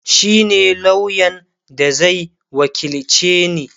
shine lauyan da Zai wakilce ni